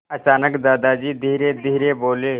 अचानक दादाजी धीरेधीरे बोले